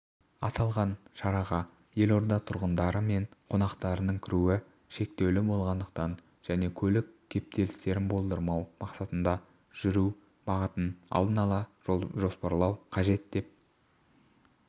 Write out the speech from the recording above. аталған шараға елорда тұрғындары мен қонақтарының кіруі шектеулі болатындықтан және көлік кептелістерін болдырмау мақсатында жүру бағытын алдын ала жоспарлау қажет деп